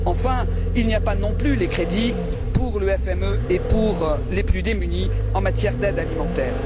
Enfin, on n'y trouve pas non plus les crédits pour le FME et pour les plus démunis, en matière d'aide alimentaire.